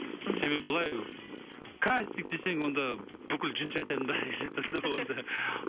мхм себебі былай кастинг десең онда бүкіл жын шайтанның бәрі келеді онда